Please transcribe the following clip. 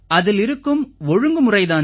அதில் இருக்கும் ஒழுங்குமுறை தான்